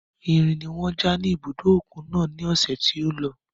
Irin ni wọ́n ja ní ibùdó òkun náà ní ọ̀sẹ̀ tí ó lọ.